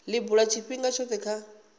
li bula tshifhinga tshothe kha